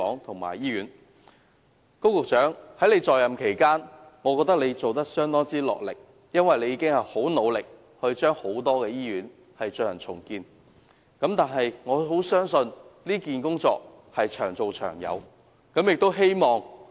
高局長，我覺得你在任期間相當落力，因為你已很努力地令多間醫院進行重建，但我相信這項工作是長做長有的。